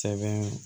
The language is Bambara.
Sɛbɛn